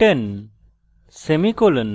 10 semicolon